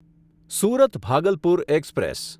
Surat Bhagalpur express